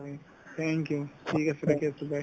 thank you ঠিক আছে ৰাখি আছো bye